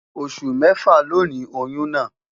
Osu mefa loni oyun naa